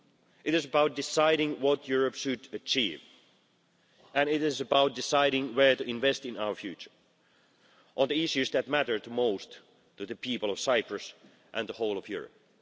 It is about deciding what Europe should achieve, and it is about deciding where to invest in our future, on the issues that matter to most to the people of Cyprus and the whole of Europe.